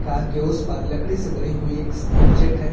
Car के उस पार लकड़ी से बनी हुई एक ऑब्जेक्ट है।